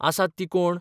आसात तीं कोण